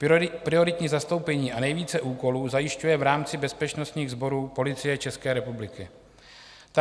Prioritní zastoupení a nejvíce úkolů zajišťuje v rámci bezpečnostních sborů Policie České republiky.